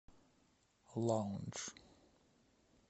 лаундж